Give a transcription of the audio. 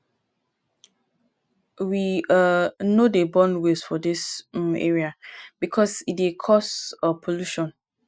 we um no dey burn waste for dis um area because e dey cause um pollution